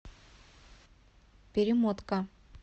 перемотка